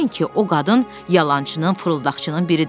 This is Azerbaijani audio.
Bilin ki, o qadın yalançının, fırıldaqçının biridir.